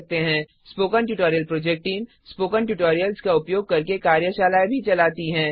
spoken tutorial project team spoken tutorials का उपयोग करके कार्यशालाएँ भी चलाती है